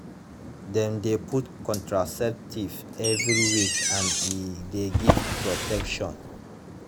dem de put contraceptives every week and e de give protection